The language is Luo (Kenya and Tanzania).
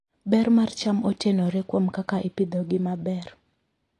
Ber mar cham otenore kuom kaka ipidhogi maber.